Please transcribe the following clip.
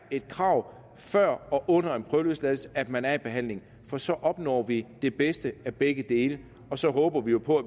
et krav før og under en prøveløsladelse at man er i behandling for så opnår vi det bedste af begge dele så håber vi på